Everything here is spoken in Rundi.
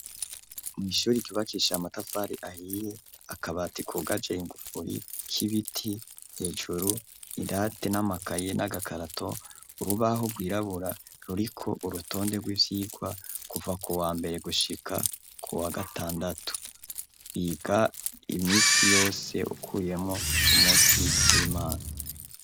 Mw'ishuri ryubakisha amatafari ahiye akabati kugaje ingufuri k'ibiti hejuru irate n'amakayi n'agakarato urubaho rwirabura ruriko urutonde rw'ivyigwa kuva ku wa mbere gushika ku wa gatandatu biga imisi yose ukuyemo ku munsi w'Imana.